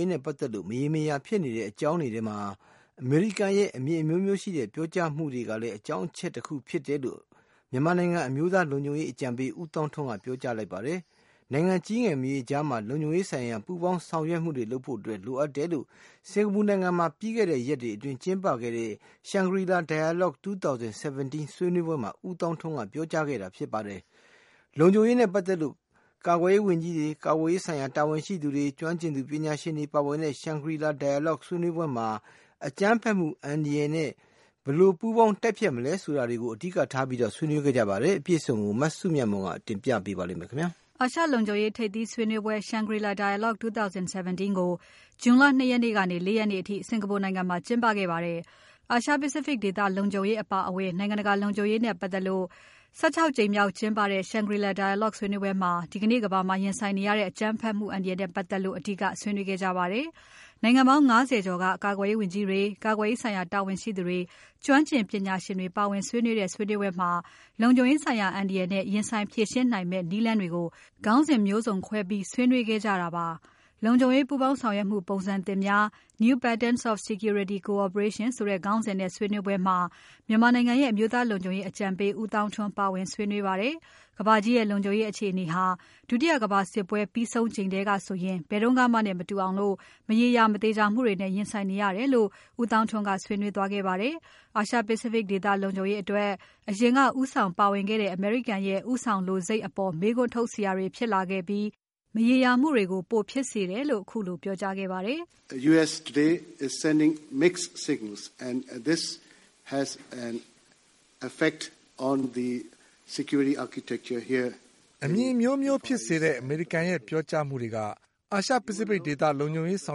ေးနဲ့ပတ်သက်လို့ မရေမရာဖြစ်နေရတဲ့အကြောင်းတွေထဲမှာ အမေရိကန်ရဲ့ အမြင်အမျိုးမျိုးဖြစ်စေတဲ့ ပြောကြားမှုတွေကလည်းအကြောင်းတချက်ဖြစ်တယ်လို့ မြန်မာနိုင်ငံ အမျိုးသားလုံခြုံရေးအကြံပေးဦးသောင်းထွန်းက ပြောကြားလိုက်ပါတယ်။ နိုင်ငံကြီးငယ်မရွေးကြားမှာ လုံခြုံရေးဆိုင်ရာ ပူးပေါင်းဆောင်ရွက်မှုတွေလုပ်ဖို့ လိုအပ်တယ်လို့ စင်္ကာပူနိုင်ငံမှာ ပြီးခဲ့တဲ့ရက်တွေအတွင်းကျင်းပခဲ့တဲ့ Shangri-La Dialogue ၂၀၁၇ ဆွေးနွေးပွဲမှာ ဦးသောင်းထွန်းက ပြောကြားခဲ့တာပါ။ လုံခြုံရေးနဲ့ပတ်သက်လို့ ကာကွယ်ရေးဝန်ကြီးတွေ၊ ကာကွယ်ရေးဆိုင်ရာ တာဝန်ရှိသူတွေ၊ ကျွမ်းကျင်သူပညာရှင်တွေပါဝင်တဲ့ Shangri-La Dialogue ဆွေးနွေးပွဲမှာ အကြမ်းဖက်မှုအန္တရာယ်နဲ့ ဘယ်လို ပူးပေါင်းတိုက်ဖျက်နိုင်မလဲဆိုတာကို အဓိကဆွေးနွေးခဲ့ကြပါတယ်။ အပြည့်အစုံကို မစုမြတ်မွန်က ဆက်ပြီးတင်ပြပါမယ်။ အာရှလုံခြုံရေးထိပ်သီးဆွေးနွေးပွဲ Shangri-La Dialogue 2017 ကို June လ ၂ ရက်နေ့ကနေ ၄ ရက်နေ့အထိ စင်္ကာပူနိုင်ငံမှာကျင်းပခဲ့ပါတယ်။ အာရှ Pacific ဒေသလုံခြုံရေးအပါအဝင် နိုင်ငံတကာလုံခြုံရေးနဲ့ပတ်သက်လို့ ၁၆ ကြိမ်မြောက်ကျင်းပတဲ့ Shangri-La Dialogue ဆွေးနွေးပွဲမှာ ဒီကနေ့ကမ္ဘာမှာရင်ဆိုင်နေရတဲ့ အကြမ်းဖက်မှုအန္တရာယ်နဲ့ပတ်သက်လို့ အဓိကဆွေးနွေးခဲ့ကြပါတယ်။ နိုင်ငံပေါင်း ၅၀ ကျော်က ကာကွယ်ရေးဝန်ကြီးတွေ၊ ကာကွယ်ရေးဆိုင်ရာတာဝန်ရှိသူတွေ၊ ကျွမ်းကျင်သူပညာရှင်တွေပါဝင်ဆွေးနွေးကြတဲ့ ဆွေးနွေးပွဲမှာ လုံခြုံရေးဆိုင်ရာအန္တရာယ်နဲ့ ရင်ဆိုင်ဖြေရှင်းနိုင်မယ့်နည်းလမ်းတွေကို ခေါင်းစဉ်မျိုးစုံခွဲပြီး ဆွေးနွေးခဲ့ကြတာပါ။ လုံခြုံရေးပူးပေါင်းဆောင်ရွက်မှု ပုံစံသစ်များ New Patterns of Security Cooperation ဆိုတဲ့ခေါင်းစဉ်နဲ့ဆွေးနွေးပွဲမှာ မြန်မာနိုင်ငံရဲ့ အမျိုးသားလုံခြုံရေးအကြံပေး ဦးသောင်းထွန်း ပါဝင်ဆွေးနွေးပါတယ်။ ကမ္ဘာကြီးရဲ့ လုံခြုံရေးအခြေအနေဟာ ဒုတိယကမ္ဘာစစ်ပွဲပြီးဆုံးချိန်ထဲက ဘယ်တုန်းကမှနဲ့မတူအောင် မရေရာ မသေချာမှုတွေနဲ့ ရင်ဆိုင်နေရတယ်လို့ ဦးသောင်းထွန်းက ဆွေးနွေးသွားခဲ့ပါတယ်။ အာရှ Pacific ဒေသလုံခြုံရေးအတွက် အရင်ကဦးဆောင်ပါဝင်ခဲ့တဲ့ အမေရိကန်ရဲ့ ဦးဆောင်လိုစိတ်အပေါ် မေးခွန်းထုတ်စရာတွေဖြစ်လာခဲ့ပြီး မရေရာမှုတွေကို ပိုဖြစ်စေတယ်လို့ ခုလို ပြောကြားခဲ့ပါတယ်။ “အမြင်အမျိုးမျိုးဖြစ်စေတဲ့ အမေရိကန်ရဲ့ပြောကြားမှုတွေက အာရှ Pacific ဒေသလုံခြုံရေးဆော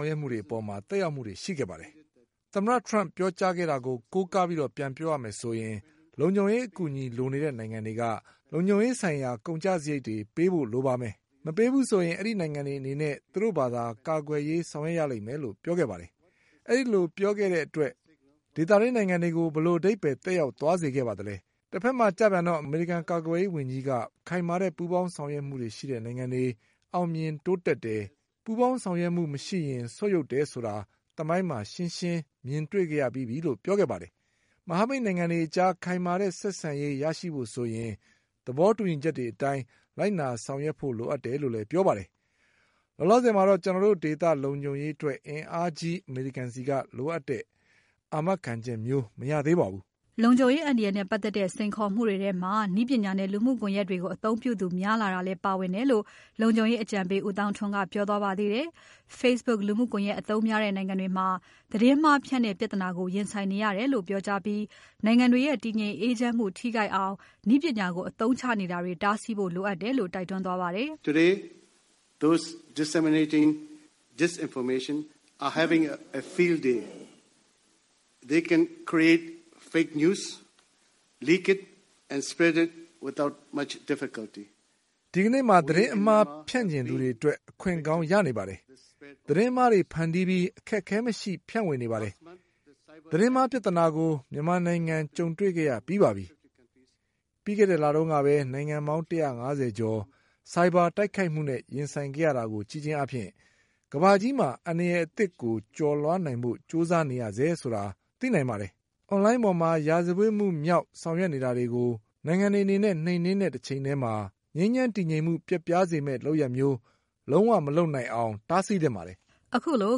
င်ရွက်မှုတွေအပေါ်မှာ သက်ရောက်မှုတွေရှိခဲ့ပါတယ်။ သမ္မတ Trump ပြောကြားခဲ့တာကို ကိုးကားပြန်ပြောရမယ်ဆိုရင် လုံခြုံရေးအကူအညီလိုနေတဲ့နိုင်ငံတွေက လုံခြုံရေးဆိုင်ရာကုန်ကျစရိတ်တွေ ပေးဖို့လိုမယ်။ မပေးဘူးဆိုရင် အဲဒီနိုင်ငံတွေအနေနဲ့ သူတို့ဘာသာ ကာကွယ်ရေးဆောင်ရွက်ရလိမ့်မယ်လို့ ပြောခဲ့ပါတယ်။ အဲဒီလိုပြောတဲ့အတွက် ဒေသတွင်းနိုင်ငံတွေကို ဘယ်လိုအဓိပ္ပါယ်သက်ရောက်သွားစေပါသလဲ။ တဖက်မှာကျပြန်တော့ အမေရိကန် ကာကွယ်ရေးဝန်ကြီးက ခိုင်မာတဲ့ပူးပေါင်းဆောင်ရွက်မှုရှိတဲ့နိုင်ငံတွေ အောင်မြင်တိုးတက်တယ်။ ပူးပေါင်းဆောင်ရွက်မှုမရှိရင် ဆုတ်ယုတ်တယ်ဆိုတာသမိုင်းမှာ ရှင်းရှင်းမြင်တွေ့ခဲ့ရပြီးပြီလို့ ပြောခဲ့ပါတယ်။ မဟာမိတ်နိုင်ငံတွေကြား ခိုင်မာတဲ့ဆက်ဆံရေးရရှိဖို့ဆိုရင် သဘောတူညီချက်တွေအတိုင်း လိုက်နာဆောင်ရွက်ဖို့လိုအပ်တယ်လို့လည်းပြောပါတယ်။ လောလောဆယ်မှာတော့ ကျွန်တော်တို့ဒေသလုံခြုံရေးအတွက် အင်အားကြီးအမေရိကန်ဆီက လိုအပ်တဲ့ အာမခံချက်မျိုးမရသေးပါဘူး။” လုံခြုံရေးအန္တရာယ်နဲ့ပတ်သက်တဲ့ စိန်ခေါ်မှုတွေထဲမှာ နည်းပညာနဲ့ လူမှုကွန်ယက်တွေကို အသုံးပြုသူများလာတာလည်းပါဝင်တယ်လို့ လုံခြုံရေးအကြံပေးဦးသောင်းထွန်းက ပြောသွားပါသေးတယ်။ Facebook လူမှုကွန်ယက်အသုံးများတဲ့ မြန်မာနိုင်ငံတွေမှာ သတင်းမှားဖြန့်တဲ့ပြဿနာကို ရင်ဆိုင်နေရတယ်လို့ ပြောကြားပြီး နိုင်ငံတွေရဲ့ တည်ငြိမ် အေးချမ်းမှုထိခိုက်စေအောင် နည်းပညာကို အသုံးချနေတာတွေတားဆီးနိုင်ဖို့ လိုအပ်တယ်လို့ တိုက်တွန်းပါတယ်။ “ဒီကနေ့မှာ သတင်းအမှားဖြန့်ချင်သူတွေအတွက် အခွင့်ကောင်းရနေပါတယ်။ သတင်းမှားတွေ ဖန်တီးပြီး အခက်အခဲမရှိ ဖြန့်ဝေနေပါတယ်။ သတင်းမှားပြဿနာကို မြန်မာနိုင်ငံကြုံတွေခဲ့ရပြီးပါပြီ။ ပြီးခဲ့တဲ့လတုန်းကပဲ နိုင်ငံပေါင်း ၁၅၀ ကျော် ဆိုင်ဘာတိုက်ခိုက်မှုနဲ့ ရင်ဆိုင်ခဲ့ရတာကို ကြည့်ခြင်းဖြင့် ကမ္ဘာကြီးမှာ အန္တရာယ်သစ်ကို ကျော်လွှားနိုင်ဖို့ကြိုးစားနေရဆဲဖြစ်တယ်ဆိုတာ သိနိုင်ပါတယ်။ Online ပေါ်မှာ ရာဇဝတ်မှုမြောက် ဆောင်ရွက်နေတာတွေကို နိုင်ငံတွေအနေနဲ့ နှိမ်နှင်းတဲ့တချိန်ထဲမှာ ငြိမ်းချမ်း တည်ငြိမ်မှု ပျက်ပြားစေမယ့် လုပ်ရပ်မျိုး လုံးဝမလုပ်နိုင်အောင် တားဆီးသင့်ပါတယ်။” ခုလို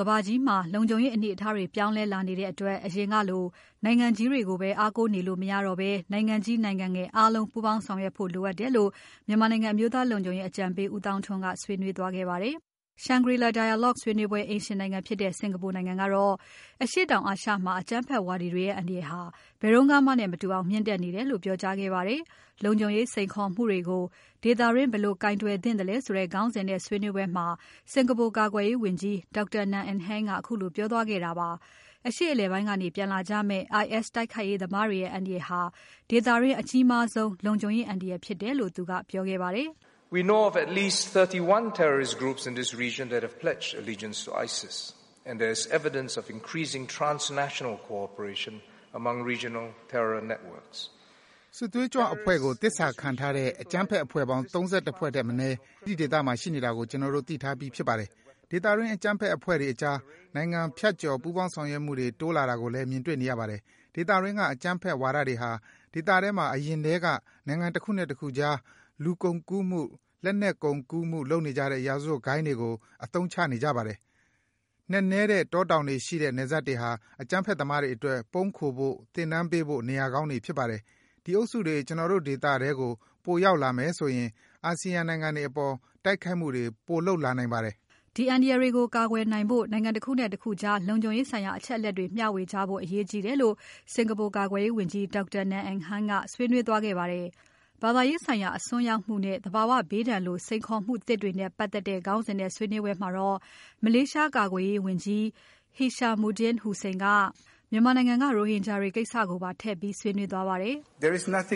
ကမ္ဘာကြီးမှာလုံခြုံရေးအနေအထားတွေ ပြောင်းလဲလာနေတဲ့အတွက် အရင်ကလို နိုင်ငံကြီးတွေကိုပဲ အားကိုးနေလို့ မရတော့ဘဲ နိုင်ငံကြီး နိုင်ငံငယ် အားလုံးပူးပေါင်းဆောင်ရွက်ဖို့ လိုအပ်တယ်လို့ မြန်မာနိုင်ငံအမျိုးသားလုံခြုံရေးအကြံပေး ဦးသောင်းထွန်းက ဆွေးနွေးခဲ့ပါတယ်။ Shangri-La Dialogue 2017 ဆွေးနွေးပွဲအိမ်ရှင်နိုင်ငံဖြစ်တဲ့ စင်္ကာပူနိုင်ငံကတော့ အရှေ့တောင်အာရှမှာ အကြမ်းဖက်ဝါဒီတွေရဲ့ အန္တရာယ်ဟာ ဘယ်တုန်းကမှနဲ့မတူအောင် မြင့်တက်နေတယ်လို့ ပြောကြားခဲ့ပါတယ်။ လုံခြုံရေးစိန်ခေါ်မှုတွေကို ဒေသတွင်း ဘယ်လိုကိုင်တွယ်သင့်သလဲဆိုတဲ့ ခေါင်းစဉ်နဲ့ဆွေးနွေးပွဲမှာ စင်္ကာပူကာကွယ်ရေးဝန်ကြီး Dr. Ng Eng Hen ကခုလိုပြောသွားတာပါ။ အရှေ့အလယ်ပိုင်းကနေ ပြန်လာကြမယ့် IS တိုက်ခိုက်ရေးသမားတွေရဲ့ အန္တရာယ်ဟာ ဒေသတွင်း အကြီးမားဆုံး လုံခြုံရေးအန္တရာယ်ဖြစ်တယ်လို့ သူကပြောခဲ့ပါတယ်။ “IS စစ်သွေးကြွအဖွဲ့ကို သစ္စာခံထားတဲ့ အကြမ်းဖက်အဖွဲ့ပေါင်း ၃၁ ဖွဲ့ထက်မနည်း ဒီဒေသထဲမှာရှိနေတာကို ကျွန်တော်တို့သိထားပြီးဖြစ်ပါတယ်။ ဒေသတွင်း အကြမ်းဖက်အဖွဲ့တွေကြား နိုင်ငံဖြတ်ကျော်ပူးပေါင်းဆောင်ရွက်မှုတွေ တိုးတာလာကိုလည်း မြင်တေ့ွနေရပါတယ်။ ဒေသတွင်းက အကြမ်းဖက်ဝါဒီတွေဟာ ဒေသထဲမှာ အရင်ထဲက နိုင်ငံတခုနဲ့တခုကြား လူကုန်ကူးမှု လက်နက်ကုန်ကူးမှုလုပ်နေကြတဲ့ ရာဇဝတ်ဂိုဏ်းတွေကို အသုံးချနေကြပါတယ်။ နက်နဲတဲ့တောတောင်တွေရှိတဲ့ နယ်စပ်တွေဟာ အကြမ်းဖက်သမားတွေအတွက် ပုန်းခိုဖို့ သင်တန်းပေးဖို့ နေရာကောင်းတွေဖြစ်နေပါတယ်။ ဒီအုပ်စုတွေ ကျွန်တော်တို့ဒေသထဲကို ပိုရောက်လာမယ်ဆိုရင် အာဆီယံနိုင်ငံတွေအပေါ် တိုက်ခိုက်မှုတွေ ပိုလုပ်လာနိုင်ပါတယ်။” ဒီအန္တရာယ်တွေကို ကာကွယ်နိုင်ဖို့ နိုင်ငံတခုနဲ့တခုကြား လုံခြုံရေးဆိုင်ရာ အချက်အလက်တွေမျှဝေကြဖို့ အရေးကြီးတယ်လို့ စင်္ကာပူကာကွယ်ရေးဝန်ကြီး Dr. Ng Eng Hen ကဆွေးနွေးသွားခဲ့ပါတယ်။ ဘာသာရေးဆိုင်ရာအစွန်းရောက်မှုနဲ့ သဘာဝဘေးဒဏ်လို စိန်ခေါ်မှုသစ်တွေနဲ့ပါတ်သက်တဲ့ ခေါင်းစဉ်နဲ့ဆွေးနွေးပွဲမှာတော့ မလေးရှားကာကွယ်ရေးဝန်ကြီး Hishammuddin Hussein က မြန်မာနိုင်ငံကရိုဟင်ဂျာကိစ္စကိုပါ ထည့်ပြီးဆွေးနွေးပါတယ်။ “ကိုယ့်နိ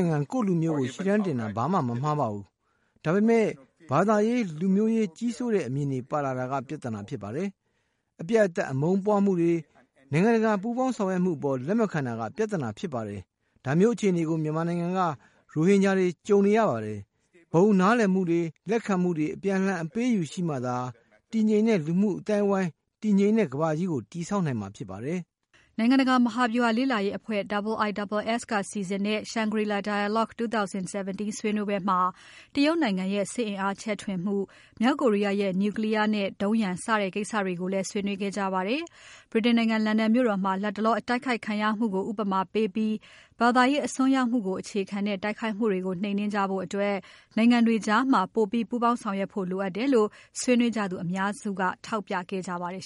ုင်ငံ ကိုယ့်လူမျိုးကို ရှေ့တန်းတင်တာ ဘာမှ မမှားပါဘူး။ ဒါပေမဲ့ ဘာသာရေး လူမျိုးရေးကြီးစိုးတဲ့ အမြင်တွေပါလာတာက ပြဿနာဖြစ်ပါတယ်။ အပြတ်အသတ် အမုန်းပွားမှုတွေ၊ နိုင်ငံတကာပူးပေါင်းဆောင်ရွက်မှုအပေါ် လက်မခံတာက ပြဿနာဖြစ်ပါတယ်။ ဒါမျိုးအခြေအနေကို မြန်မာနိုင်ငံက ရိုဟင်ဂျာတွေ ကြုံတေ့ွနေကြရပါတယ်။ ဘုံနားလည်မှုတွေ၊ လက်ခံမှုတွေ၊ အပြန်အလှန် အပေးအယူရှိမှသာ တည်ငြိမ်တဲ့လူမှုအသိုင်းအဝိုင်း၊ တည်ငြိမ်တဲ့ ကမ္ဘာကြီးကို တည်ဆောက်နိုင်မှာဖြစ်ပါတယ်။” နိုင်ငံတကာမဟာဗြူဟာလေ့လာရေးအဖွဲ့ IISS က စီစဉ်တဲ့ Shangri-La Dialogue ဆွေးနွေးပွဲမှာ တရုတ်နိုင်ငံရဲ့ စစ်အင်အားချဲ့ထွင်မှု၊ မြောက်ကိုရီးယားရဲ့ Nuclear နဲ့ဒုံးရန် စတဲ့ကိစ္စတွေကိုလည်း ဆွေးနွေးခဲ့ကြပါတယ်။ ဗြိတိန်နိုင်ငံ လန်ဒန်မြို့တော်မှာ လတ်တလော အကြမ်းဖက်ဝါဒီတို့ရဲ့ တိုက်ခိုက်ခံရမှုကို ဥပမာပေးပြီး ဘာသာရေးအစွန်းရောက်မှုကို အခြေခံတဲ့တိုက်ခိုက်မှုတွေကို နှိမ်နှင်းနိုင်ဖို့ နိုင်ငံတွေကြား ပိုပြီးပူးပေါင်းဆောင်ရွက်ဖို့ လိုအပ်တယ်လို့ ဆွေးနွေးကြသူအများက ထောက်ပြခဲ့ကြပါတယ်